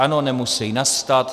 Ano, nemusejí nastat.